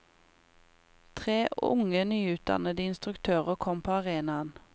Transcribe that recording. Tre unge, nyutdannede instruktøren kom på arenaen.